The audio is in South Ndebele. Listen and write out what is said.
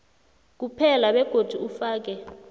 kuphela begodu ufake